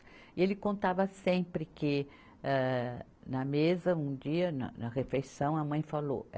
E ele contava sempre que âh na mesa, um dia, na refeição, a mãe falou.